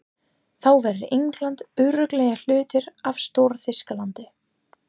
Þá verður England örugglega hluti af Stór-Þýskalandi.